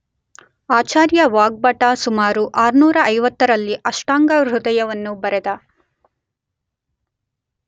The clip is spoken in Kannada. ಆಚಾರ್ಯ ವಾಗ್ಭಟ ಸುಮಾರು 650ರಲ್ಲಿ ಅಷ್ಟಾಂಗ ಹೃದಯವನ್ನು ಬರೆದ.